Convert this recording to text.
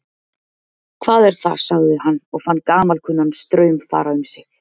Hvað er það sagði hann og fann gamalkunnan straum fara um sig.